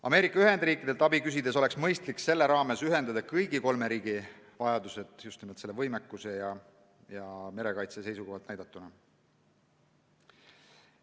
Ameerika Ühendriikidelt abi küsides oleks mõistlik ühendada kõigi kolme riigi vajadused, just nimelt võimekuse ja merekaitse seisukohalt näidatuna.